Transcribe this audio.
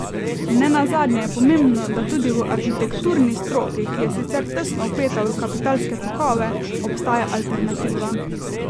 Ne nazadnje je pomembno, da tudi v arhitekturni stroki, ki je sicer tesno vpeta v kapitalske tokove, obstaja alternativa.